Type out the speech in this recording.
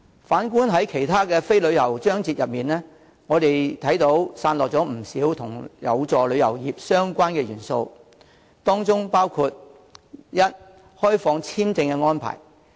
反觀在其他非關旅遊業的章節中，散落了不少有助旅遊業發展的相關元素，當中包括：第一，開放簽證安排。